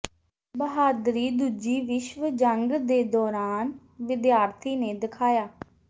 ਬਹਾਦਰੀ ਦੂਜੀ ਵਿਸ਼ਵ ਜੰਗ ਦੇ ਦੌਰਾਨ ਵਿਦਿਆਰਥੀ ਨੇ ਦਿਖਾਇਆ